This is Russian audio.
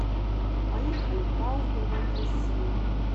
поехали пао сбербанк россии